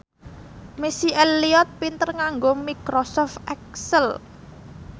Missy Elliott pinter nganggo microsoft excel